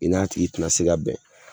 I n'a tigi te na se ka bɛn